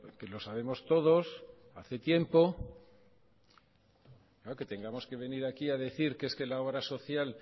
que lo sabemos todos hace tiempo que tengamos que venir aquí a decir que es que la obra social